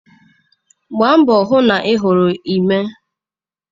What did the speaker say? Gbaa mbọ hụ na ị hụrụ Emịee.